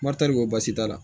Marit ko baasi t'a la